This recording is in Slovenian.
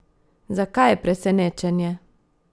Zakaj je presenečenje?